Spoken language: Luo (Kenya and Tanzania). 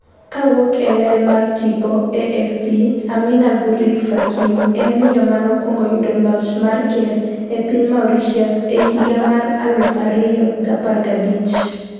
kowuok e ler mar tipo AFP ,Ameenah Gurib-Fakim ​​en miyo mano kwongo yudo loch mar ker e piny Mauritius e higa mar 2015